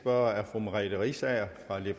og så at have